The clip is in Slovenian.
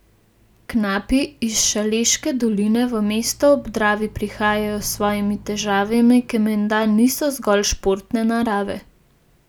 Knapi iz Šaleške doline v mesto ob Dravi prihajajo s svojimi težavami, ki menda niso zgolj športne narave.